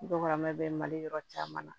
Dɔgɔmɛ bɛ mali yɔrɔ caman na